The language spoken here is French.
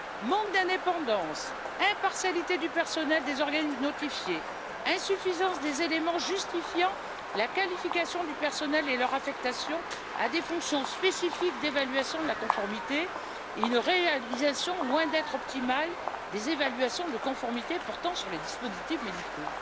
manque d'indépendance, impartialité du personnel des organismes notifiés, insuffisance des éléments justifiant la qualification du personnel et leur affectation à des fonctions spécifiques d'évaluation de la conformité et une réalisation loin d'être optimale des évaluations de conformité portant sur les dispositifs médicaux.